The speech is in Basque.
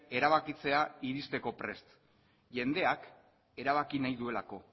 erabakitzea iristeko prest jendeak erabaki nahi duelako